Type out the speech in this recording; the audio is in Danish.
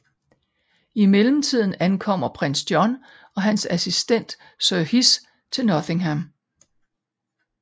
I mellemtiden ankommer Prins John og hans assistent Sir Hiss til Nottingham